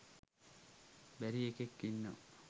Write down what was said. බැරි එකෙක් ඉන්නවා.